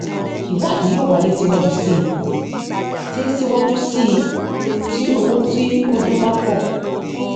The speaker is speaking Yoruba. ìwádìí yóó wáyé síwájú síi tí síwájú síi tí owó tí ó dún bá pò